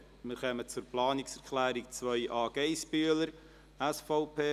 Wir kommen zu Planungserklärung 2a, Geissbühler, SVP.